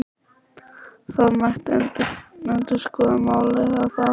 Það mætti endurskoða málið að ári.